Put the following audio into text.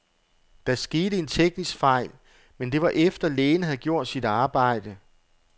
Der skete en teknisk fejl, men det var efter, lægen havde gjort sit arbejde.